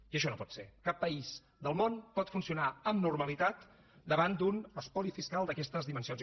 i això no pot ser cap país del món pot funcionar amb normalitat davant d’un espoli fiscal d’aquestes dimensions